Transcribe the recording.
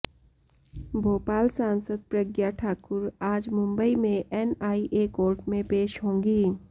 भोपाल सांसद प्रज्ञा ठाकुर आज मुंबई में एनआईए कोर्ट में पेश होंगी